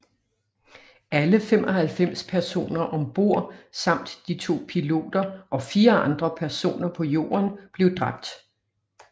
Alle 95 personer ombord samt de to piloter og 4 andre personer på jorden blev dræbt